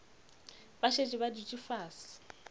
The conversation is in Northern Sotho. ba šetše ba dutše fase